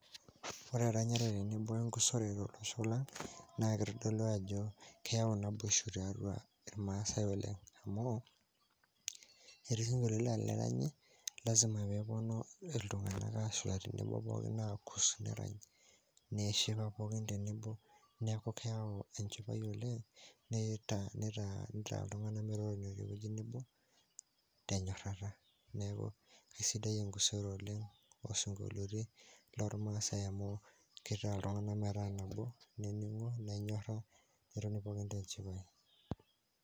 Ore eranyare tenebo o enkusore tolosho lang' naa kitodolu ajo keyau naboisho tiatua irnaasai oleng' amu, etii isinkolioti laa teneranyi lazima pee eponu iltung'anak aashula tenebo pookin aakus, nerany', neshipa pooki tenebo, neeku keyau enchipai oleng' nitaa iltung'anak metotonio tewueji nebo tenyorarrata. Neeku kesidai enkusore oleng' oosinkolioti lormaasai amu kitaa iltung'anak metaa nabo, nening'o, nenyorra, netoni pookin tenchipai.